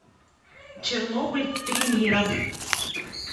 чернобыль три мира